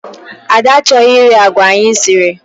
Ada achọghị iri agwa anyị siri.